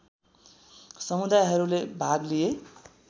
समुदायहरूले भाग लिए